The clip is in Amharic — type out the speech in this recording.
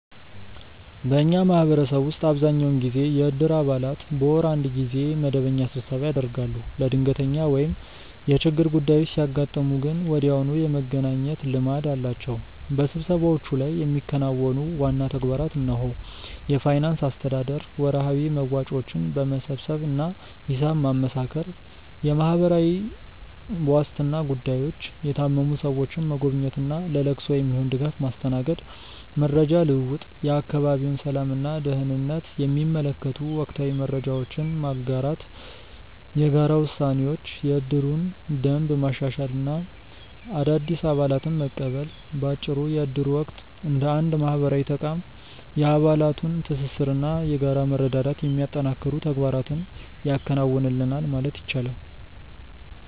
በእኛ ማህበረሰብ ውስጥ አብዛኛውን ጊዜ የእድር አባላት በወር አንድ ጊዜ መደበኛ ስብሰባ ያደርጋሉ። ለድንገተኛ ወይም የችግር ጉዳዮች ሲያጋጥሙ ግን ወዲያውኑ የመገናኘት ልማድ አላቸው። በስብሰባዎቹ ላይ የሚከናወኑ ዋና ተግባራት እነሆ፦ የፋይናንስ አስተዳደር፦ ወርሃዊ መዋጮዎችን መሰብሰብ እና ሂሳብ ማመሳከር። የማህበራዊ ዋስትና ጉዳዮች፦ የታመሙ ሰዎችን መጎብኘት እና ለለቅሶ የሚሆን ድጋፍ ማስተናገድ። መረጃ ልውውጥ፦ የአካባቢውን ሰላም እና ደህንነት የሚመለከቱ ወቅታዊ መረጃዎችን መጋራት። የጋራ ውሳኔዎች፦ የእድሩን ደንብ ማሻሻል እና አዳዲስ አባላትን መቀበል። ባጭሩ የእድሩ ወቅት እንደ አንድ ማህበራዊ ተቋም የአባላቱን ትስስር እና የጋራ መረዳዳት የሚያጠናክሩ ተግባራትን ያከናውናል ማለት ይቻላል።